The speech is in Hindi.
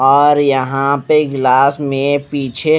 और यहां पे गिलास में पीछे--